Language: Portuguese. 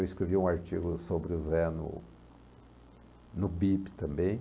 Eu escrevi um artigo sobre o Zé no no Bip também.